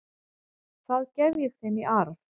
Það gef ég þeim í arf.